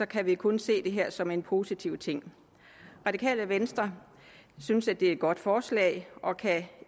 kan vi kun se det her som en positiv ting radikale venstre synes at det er et godt forslag og kan